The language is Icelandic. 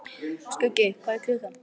Skuggi, hvað er klukkan?